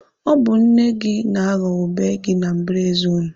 Ọ bụ nne gị na-aghọ ube gị na mbaraezi unu.